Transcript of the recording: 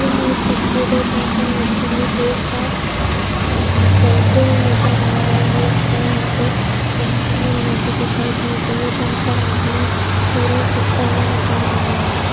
यह एक तस्वीर है जहां पर नदी में लोग-बाग अ तैरते हुए नजर आ रहे हैंऔर यहां पर बहुत सुंदर नदी दिखाई दे रही हैजहां पर आसमान सूरज डूबता हुआ नजर आ रहा है।